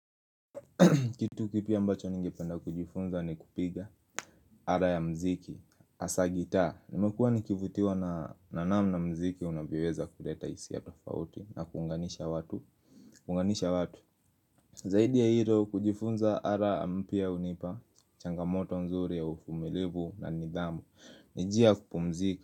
Kitu kipi ambacho ningependa kujifunza ni kupiga ala ya mziki hasa gitaa Nimekuwa nikivutiwa na namna mziki unavyoweza kuleta hisia tofauti na kuunganisha watu Zaidi ya hilo kujifunza ala mpya unipa changamoto nzuri ya uvumilivu na nidhamu ni njia kupumzika.